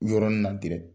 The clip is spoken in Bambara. Yɔrɔnin na gɛrɛ